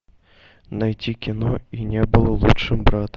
найти кино и не было лучше брата